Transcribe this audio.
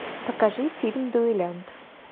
покажи фильм дуэлянт